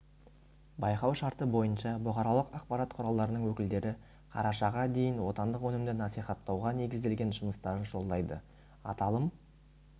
байқау шарты бойынша бұқаралық ақпарат құралдарының өкілдері қарашаға дейін отандық өнімді насихаттауға негізделген жұмыстарын жолдайды аталым